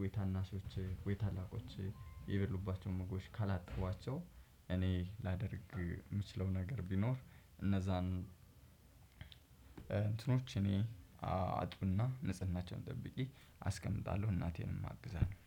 ወይ ታናሾችህ ወይ ታላቆችህ የበሉባቸውን ምግቦች ካላጠቧቸው። እኔ ላደርግ የምችለው ነገር ቢኖር እነዛን እንትኖች እኔ አጥብና ንጽህናቸውን ጠብቄ አስቀምጣለሁ። እናቴንም አግዛለሁ